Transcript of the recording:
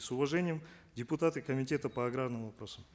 с уважением депутаты комитета по аграрным вопросам